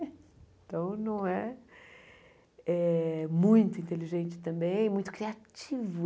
Então, não é eh muito inteligente também, muito criativo.